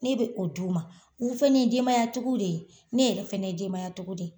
Ne be o d'u ma, u fɛnɛ ye denbaya tigiw de ye, ne yɛrɛ fɛnɛ ye denbaya tigi de ye.